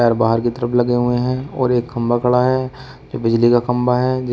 बाहर के तरफ लगे हुए हैं और एक खंभा खड़ा है जो बिजली का खंभा है जिस--